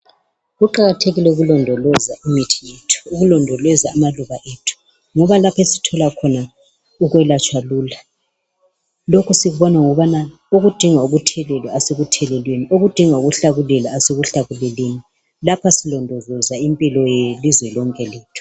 Kuqakathekile ukulondoloza imithi yethu, ukulondoloza amaluba ethu ngoba lapho esithola khona ukwelatshwa lula. Lokhu sikubona ngokubana okudinga ukuthelelwa asikutheleleni, okudinga ukuhlakulelwa asikuhlakuleleni. Lapha silondoloza impilo yelizwe lonke lethu.